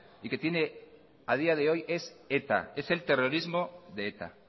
y que tiene a día de hoy es eta es el terrorismo de eta